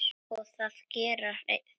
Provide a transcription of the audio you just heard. Og það gera þeir.